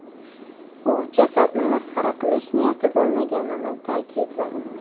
U jasadni masxara qilish niyati bo‘lmaganini ta’kidladi.